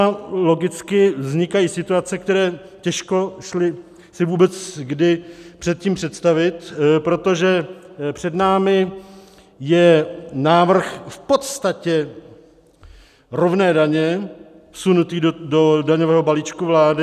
A logicky vznikají situace, které těžko šly si vůbec kdy předtím představit, protože před námi je návrh v podstatě rovné daně vsunutý do daňového balíčku vlády.